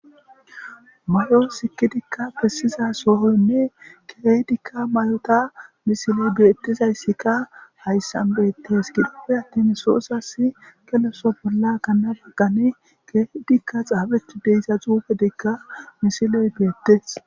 mayo sikidikka pessiza soohoynne keydikka mayota misiley beettizayssikka hayssan beettes kidippe attin soosas keleso bolla kanna baggane keydikka xaabeti deyza xuufe degka misiley beettes